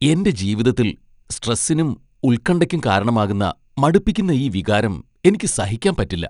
എന്റെ ജീവിതത്തിൽ സ്ട്രെസ്സിനും ഉൽകണ്ഠയ്ക്കും കാരണമാകുന്ന മടുപ്പിക്കുന്ന ഈ വികാരം എനിക്ക് സഹിക്കാൻ പറ്റില്ല.